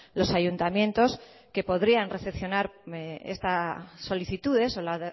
los ayuntamientos que podrían recepcionar esta solicitudes o la